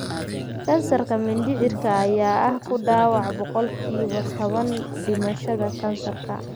Kansarka mindhicirka ayaa ah ku dhawaad ​​boqolkiiba toban dhimashada kansarka .